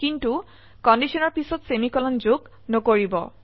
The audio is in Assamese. কিন্তু কন্ডিশনৰ পিছত সেমিকোলন যোগ নকৰিব